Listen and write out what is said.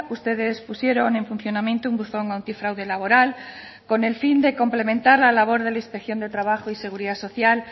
ustedes pusieron en funcionamiento un buzón antifraude laboral con el fin de complementar la labor de la inspección de trabajo y seguridad social